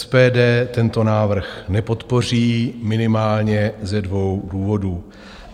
SPD tento návrh nepodpoří minimálně ze dvou důvodů.